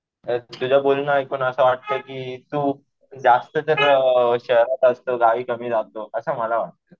तुझं बोलणं ऐकून असं वाटतंय कि तू जास्त तर शहरात असतो. गावी कमी असतो असं मला वाटतं.